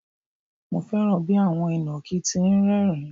Mo fẹ́ràn bí àwọn ìnàkí ti ń rẹ́ẹ̀rín.